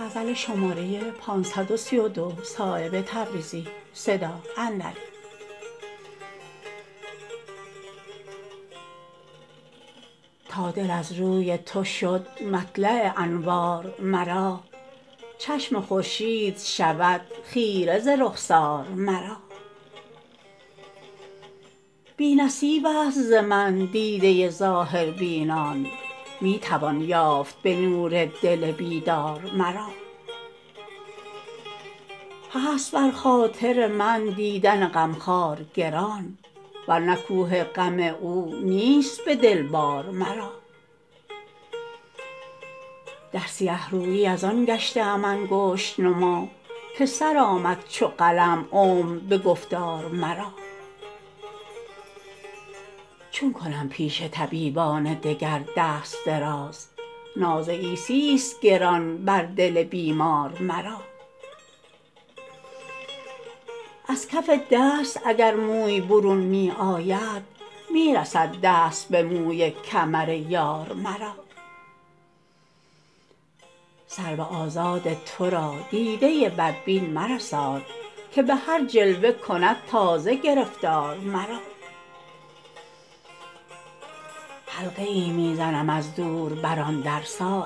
تا دل از روی تو شد مطلع انوار مرا چشم خورشید شود خیره ز رخسار مرا بی نصیب است ز من دیده ظاهربینان می توان یافت به نور دل بیدار مرا هست بر خاطر من دیدن غمخوار گران ورنه کوه غم او نیست به دل بار مرا در سیه رویی ازان گشته ام انگشت نما که سر آمد چو قلم عمر به گفتار مرا چون کنم پیش طبیبان دگر دست دراز ناز عیسی است گران بر دل بیمار مرا از کف دست اگر موی برون می آید می رسد دست به موی کمر یار مرا سرو آزاد ترا دیده بدبین مرساد که به هر جلوه کند تازه گرفتار مرا حلقه ای می زنم از دور بر آن در صایب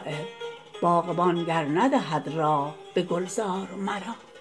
باغبان گر ندهد راه به گلزار مرا